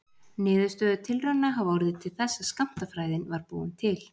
Niðurstöður tilrauna hafa orðið til þess að skammtafræðin var búin til.